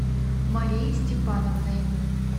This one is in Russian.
марией степановной